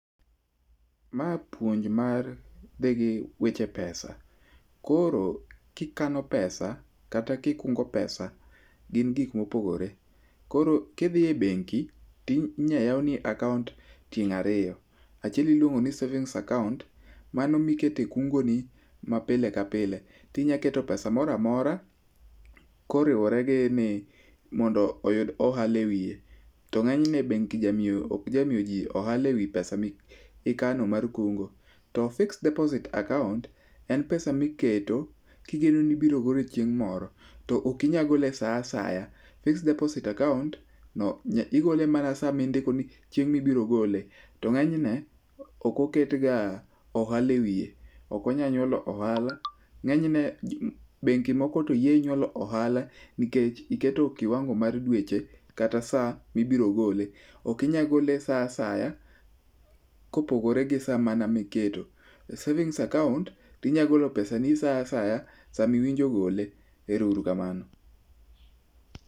Ma puonj madhi gi weche pesa. Koro kikano pesa kata ka ikungo pesa gin gik mopogore. Koro kidhi e bengi to inyalo yawni akaaont tieng' ariyo. Achiel iluongo ni[cs[ savings account, mano mikete kungoni ma pile kapile. To inyalo keto pesa moro amora koriwore gi ni mondo oyud ohala ewiye. To ng'eny ne bengi ok ja miyoji ohala ewi pesa mikano mar kungo. To fixed deposit account en pesa [çs] miketo kigeno ni ibiro golo chieng' moro, to ok inyal gole esa asaya. fixed deposit account no igole mana chieng' mindiko ni ibiro gole. To ng'eny ne ok oketga ohala ewiye, ok onyal nyuolo ohala. Ng'eny ne bengi moko to yie onyuolo ohala nikech iketo kiwango mar dweche kata saa mibiro gole. Ok inyal gole saa asaya, kopogore gi saa mana miketo. savings account to inyalo golo pesani saa asaya, sama iwinjo gole. Erouru kamano.